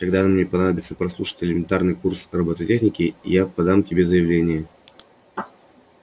когда мне понадобится прослушать элементарный курс роботехники я подам тебе заявление